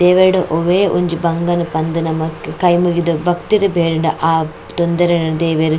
ದೇವೆರ್ಡ ಒವೇ ಒಂಜಿ ಬಂಗನ್ ಪಂದ್ ನಮಕ್ ಕೈ ಮುಗಿದ್ ಭಕ್ತಿಡ್ ಬೇಡ್ಂಡ ಆ ತೊಂದರೆನ್ ದೇವೆರ್.